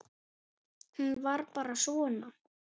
Hún var bara svona